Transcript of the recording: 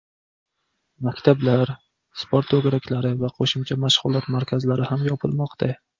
Maktablar, sport to‘garaklari va qo‘shimcha mashg‘ulot markazlari ham yopilmoqda.